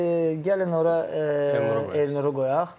Yəni gəlin ora Elnuru qoyaq.